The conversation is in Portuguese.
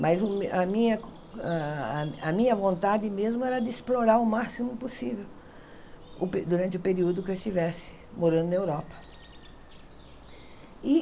Mas o me a minha ah a minha vontade mesmo era de explorar o máximo possível o pe durante o período que eu estivesse morando na Europa.